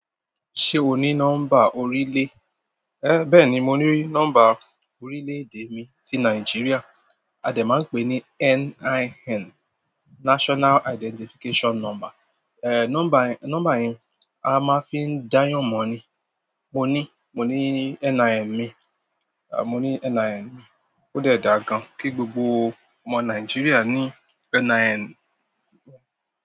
Ṣé o ní nọ́mbà orílẹ̀? Ẹ̀, bẹ́ẹ̀ni mo ní nọ́mbà orílẹ̀-èdè mi tí Nàìjíríà. A dẹ̀ máa ń pè ní NIN, National Identification Number. Ẹ̀, nọ́mbà yẹn, nọ́mbà yẹn a máa fi n dayan mọ́ ni. Mo ní, mo ní NIN mi, à, mo ní NIN. Ó dẹ̀ dà gan-an kí gbogbo ọmọ Nàìjíríà ní NIN.